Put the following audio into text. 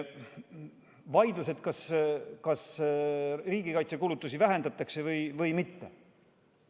Vaieldakse, kas riigikaitsekulutusi vähendatakse või mitte.